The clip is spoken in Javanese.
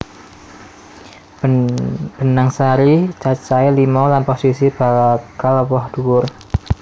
Benang sari cacahé lima lan posisi bakal woh dhuwur